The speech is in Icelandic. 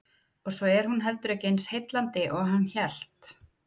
Og svo er hún heldur ekki eins heillandi og hann hélt.